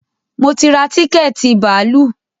Mo ti ra tíkẹ̀tì bàálù